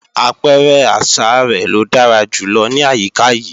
Àpẹrẹ àṣa rẹ̀ ló dára jù lọ ní àyíká yìí